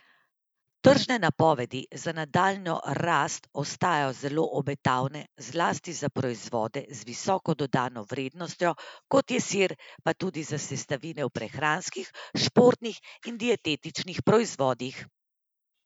Tržne napovedi za nadaljnjo rast ostajajo zelo obetavne zlasti za proizvode z visoko dodano vrednostjo, kot je sir, pa tudi za sestavine v prehranskih, športnih in dietetičnih proizvodih.